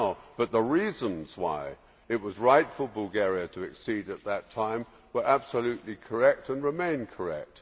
But the reasons why it was right for Bulgaria to accede at that time were absolutely correct and remain correct.